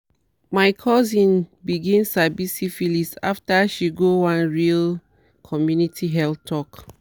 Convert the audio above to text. my cousin begin sabi syphilis after she go one real community health talk